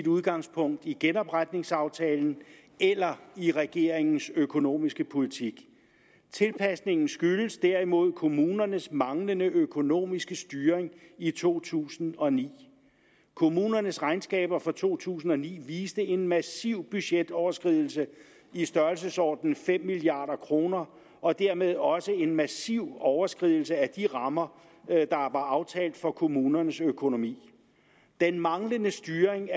udgangspunkt i genopretningsaftalen eller i regeringens økonomiske politik tilpasningen skyldes derimod kommunernes manglende økonomiske styring i to tusind og ni kommunernes regnskaber for to tusind og ni viste en massiv budgetoverskridelse i størrelsesordenen fem milliard kroner og dermed også en massiv overskridelse af de rammer der var aftalt for kommunernes økonomi den manglende styring